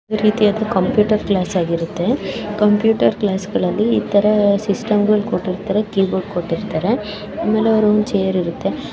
ಇದೊಂದ್ ರೀತಿಯ computer class ಆಗಿರುತ್ತೆ ಕಂಪ್ಯೂಟರ್ ಕ್ಲಾಸ್ ಅಲ್ಲಿ ಸಿಸ್ಟಮ್ ಕೊಟ್ಟಿರುತ್ತಾರೆ ಚೆರ್ಸ್ ಕೊಟ್ಟಿರುತ್ತಾರೆ ಆಮೇಲೆ ಅವರಿಗೊಂದು ಚೇರ್ ಇರುತ್ತೆ .